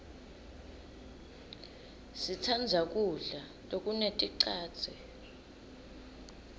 sitsandza kudla lokuneticadze